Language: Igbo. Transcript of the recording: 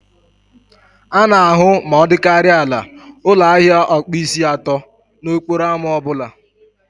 A na-ahụ ma ọ dịkarịa ala ụlọ ahịa ọkpụisi atọ n'okporo ámá ọ bụla